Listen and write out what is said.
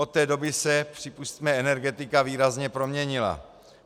Od té doby se, připusťme, energetika výrazně proměnila.